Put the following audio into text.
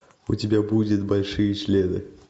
у тебя будет большие члены